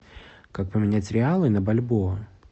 как поменять реалы на бальбоа